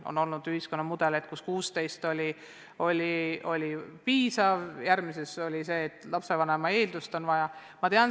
On olnud ühiskonnamudeleid, kus 16 on selleks piisav vanus, aga arutatud on ka seda, et lisaks peab olema eeldusi olla lapsevanem.